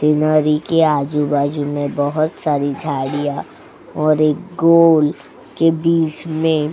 scenery के आजू-बाजू में बहुत सारी झाड़ियां और एक गोल के बीच में --